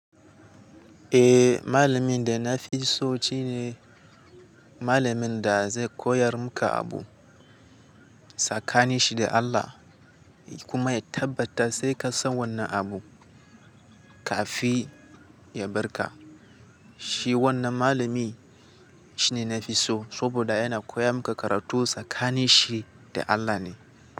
Eh, malamin da na fi so shi ne malamin da zai koyar muka abu. Sakani shi da Allah ya kuma tabbata sai ka san wannan abu kafin ya bar ka. Shi wannan malami shine na fi so saboda yana koya muka karatu sakani shi da Allah ne.